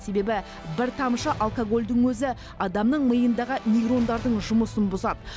себебі бір тамшы алкогольдің өзі адамның миындағы нейрондардың жұмысын бұзады